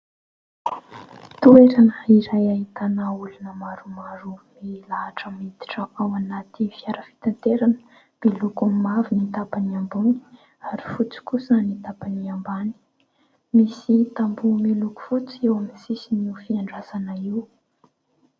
Toerana iray ahitana olona maromaro milahatra miditra ao anaty fiara fitaterana. Miloko mavo ny tapany ambony ary fotsy kosa ny tapany ambany. Misy tamboho miloko fotsy eo amin'ny sisin'io fiandrasana io.